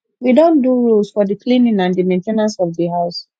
we don do rules for di cleaning and di main ten ance of di house